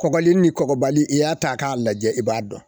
Kɔkɔli ni kɔkɔbali i y'a ta k'a lajɛ i b'a dɔn